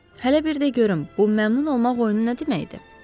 Hələ bir də görüm, bu məmnun olmaq oyunu nə deməkdir?